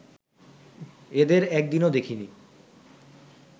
এদের একদিনও দেখিনি